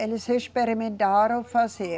Eles experimentaram fazer.